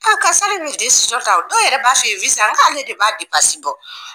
A dɔw yɛrɛ b'a fɛ i ye n k'ale de b'a bɔ